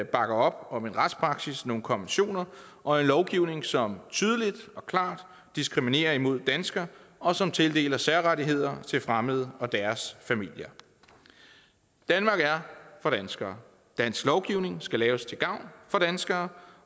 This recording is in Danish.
bakker op om en retspraksis nogle konventioner og en lovgivning som tydeligt og klart diskriminerer imod danskere og som tildeler særrettigheder til fremmede og deres familier danmark er for danskere dansk lovgivning skal laves til gavn for danskere